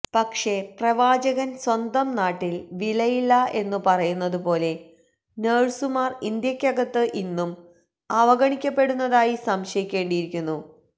പക്ഷെ പ്രവാചകന് സ്വന്തം നാട്ടില് വിലയില്ല എന്നു പറയുന്നത് പോലെ നഴ്സുമാര് ഇന്ത്യക്കകത്ത് ഇന്നും അവഗണിക്കപ്പെടുന്നതായി സംശയിക്കേണ്ടിയിരിക്കുന്നു